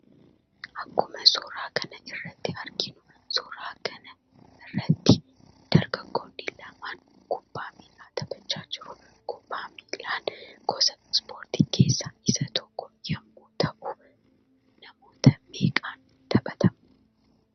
Akkuma suuraa kana irratti arginu suuraa kana irratti dargaggoonni lama kubbaa miillaa taphaacha jiru. Kubbaa miillaan gosa ispoortii keessaa isa tokko yemmuu ta'u namoota meeqan taphatama?